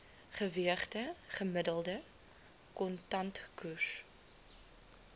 geweegde gemiddelde kontantkoers